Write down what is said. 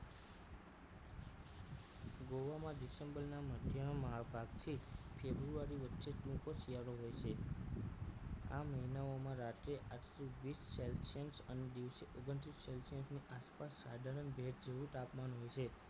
ગોવામાં december ના મધ્યમાં ભાગથી february વચ્ચે ટૂંકો શિયાળો હોય છે આ મહિનાઓમાં રાત્રે આઠ થી વીસ celsius અને દિવસે ઓગણત્રીસ celsius આસપાસ સાધારણ ભેજ જેવું તાપમાન હોય છે